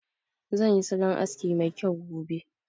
Zan yi salon aski mai kyau gobe